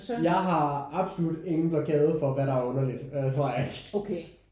Jeg har absolut ingen blokade for hvad der er underligt. Det tror jeg ikke